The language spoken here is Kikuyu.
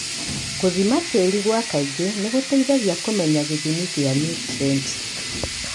Gũthima tĩri gwa kaingĩ nĩgũteithagia kũmenya gĩthimi gĩa niutrienti .